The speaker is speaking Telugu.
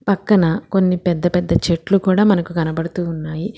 పక్కన కొన్ని పెద్ద పెద్ద చెట్లు కూడా మనకు కనబడుతూ ఉన్నాయి.